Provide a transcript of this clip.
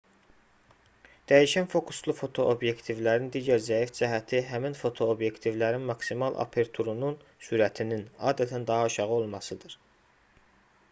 dəyişən fokuslu fotoobyektivlərin digər zəif cəhəti həmin fotoobyektivlərin maksimal aperturunun sürətinin adətən daha aşağı olmasıdır